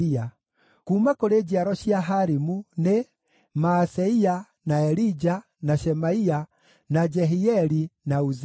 Kuuma kũrĩ njiaro cia Harimu nĩ: Maaseia, na Elija, na Shemaia, na Jehieli, na Uzia.